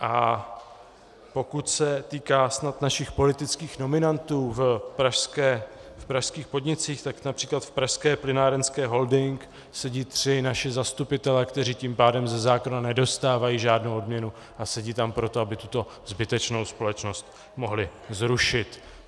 A pokud se týká snad našich politických nominantů v pražských podnicích, tak například v Pražské plynárenské holding sedí tři naši zastupitelé, kteří tím pádem ze zákona nedostávají žádnou odměnu, a sedí tam proto, aby tuto zbytečnou společnost mohli zrušit.